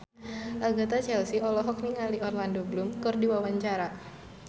Agatha Chelsea olohok ningali Orlando Bloom keur diwawancara